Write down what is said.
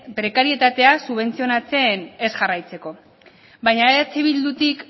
prekarietatea subentzionatzen ez jarraitzeko baina eh bildutik